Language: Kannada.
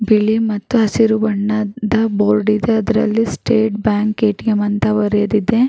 ಬಿಳಿ ಮತ್ತು ಹಸಿರು ಬಣ್ಣದ ಬೋರ್ಡ್ ಇದೆ. ಅದರಲ್ಲಿ ಸ್ಟೇಟ್ ಬ್ಯಾಂಕ್ ಎ.ಟಿ.ಎಂ ಅಂತ ಬರೆದಿದೆ.